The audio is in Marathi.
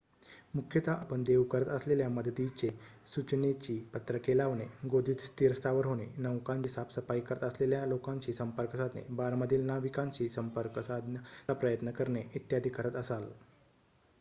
मुख्यतः आपण देऊ करत असलेल्या मदतीचे सूचनेची पत्रके लावणे गोदीत स्थिरस्थावर होणे नौकांची साफसफाई करत असलेल्यालोकांशी संपर्क साधणे बारमधील ना विकांशी संपर्क साधण्याचाप्रयत्न करणे इत्यादि करत असाल